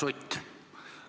Härra Sutt!